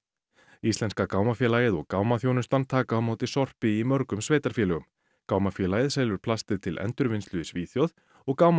íslenska gámafélagið og taka á móti sorpi í mörgum sveitarfélögum gámafélagið selur plast til endurvinnslu í Svíþjóð og